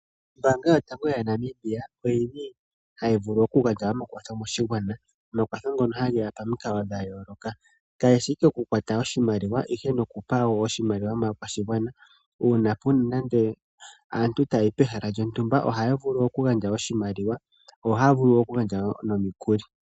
Ombaanga yotango yaNamibia ohayi gandja omakwatho koshigwana. Omakwatho ngono ohageya pomikalo dhayooloka. Kashishi ashike okukwata oshimaliwa, ihe nokufala wo oshimaliwa moshigwana. Uuna puna nande aantu tayayi pehala lyontumba, ohaya vulu okugandja oshimaliwa, yo ohaya vulu okugandja wo nomikuli.